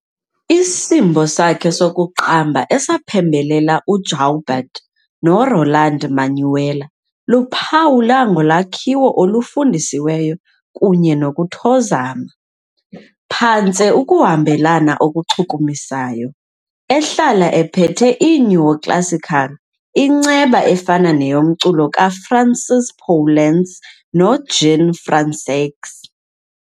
Isimbo sakhe sokuqamba, esaphembelela uJaubert noRoland-Manuel, luphawulwa ngolwakhiwo olufundisiweyo kunye nokuthozama, phantse ukuhambelana okuchukumisayo, ehlala ephethe i-neo-classical inceba efana neyomculo kaFrancis Poulenc noJean Françaix.